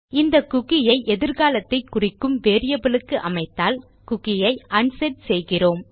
இந்த குக்கி ஐ எதிர்காலத்தை குறிக்கும் வேரியபிள் க்கு அமைத்தால் குக்கி ஐ அன்செட் செய்கிறோம்